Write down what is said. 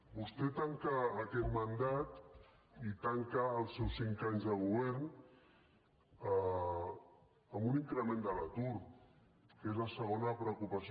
vostè tanca aquest mandat i tanca els seus cinc anys de govern amb un increment de l’atur que és la segona preocupació